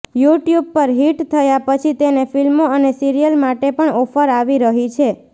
YouTube પર hit થયા પછી તેને ફિલ્મો અને સીરિયલ માટે પણ ઓફર આવી રહી છે